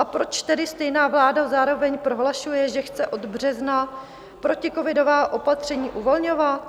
A proč tedy stejná vláda zároveň prohlašuje, že chce od března proticovidová opatření uvolňovat?